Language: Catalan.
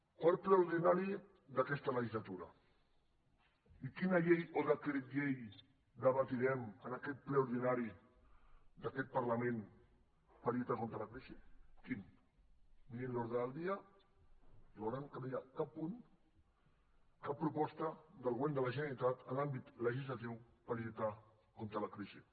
quart ple ordinari d’aquesta legislatura i quina llei o decret llei debatrem en aquest ple ordinari d’aquest parlament per lluitar contra la crisi quin mirin l’ordre del dia i veuran que no hi ha cap punt cap proposta del govern de la generalitat en l’àmbit legislatiu per lluitar contra la crisi